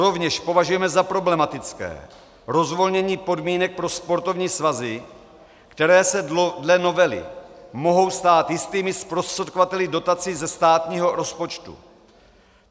Rovněž považujeme za problematické rozvolnění podmínek pro sportovní svazy, které se dle novely mohou stát jistými zprostředkovateli dotací ze státního rozpočtu.